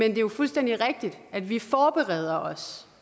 det er jo fuldstændig rigtigt at vi forbereder os